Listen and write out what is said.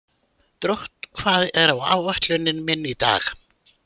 Drótt, hvað er á áætluninni minni í dag?